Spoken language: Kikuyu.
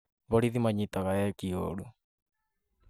Borithi manyitaga eeki ũũru